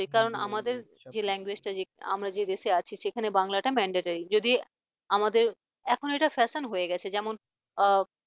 সে কারণ আমাদের যে Language আমরা যে দেশে আছি সেখানে বাংলাটা mandatory যদি আমাদের এখন এটা fashion হয়ে গেছে যেমন